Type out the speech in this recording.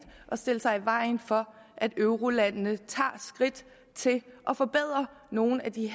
at stille sig i vejen for at eurolandene tager skridt til at forbedre nogle af de